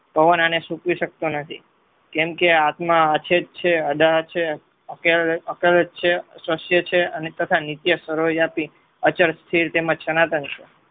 પવન આને સુકવી શકતો નથી. કેમ કે આ આત્મા છે. તથા નિત્ય સરોજ આપી અચળ સ્થિર તેમજ સનાતન છે.